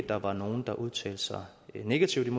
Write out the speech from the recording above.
der var nogen der udtalte sig negativt